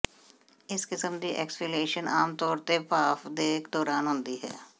ਇਸ ਕਿਸਮ ਦੀ ਐਕਸਫ਼ੀਲੀਏਸ਼ਨ ਆਮ ਤੌਰ ਤੇ ਭਾਫ਼ ਦੇ ਦੌਰਾਨ ਹੁੰਦੀ ਹੈ